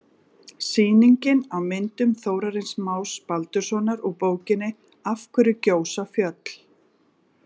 Sýningin á myndum Þórarins Más Baldurssonar úr bókinni Af hverju gjósa fjöll?